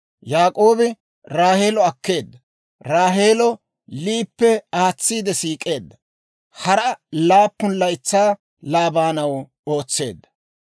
Yaak'oobi Raaheelo akkeedda. Raaheelo Liyippe aatsiide siik'eedda. Hara laappun laytsaa Laabaanaw ootseedda.